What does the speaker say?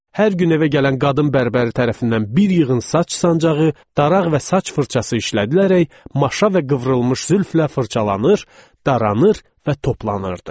Hər gün evə gələn qadın bərbəri tərəfindən bir yığın saç sancağı, daraq və saç fırçası işlədilərək maşa və qıvrılmış zülflə fırçalanır, daranır və toplanırdı.